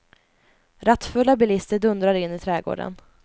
Rattfulla bilister dundrar in i trädgården.